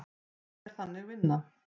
Þetta er Þannig vinna.